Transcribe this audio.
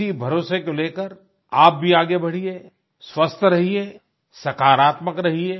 इसी भरोसे को लेकर आप भी आगे बढ़िये स्वस्थ रहिए सकारात्मक रहिए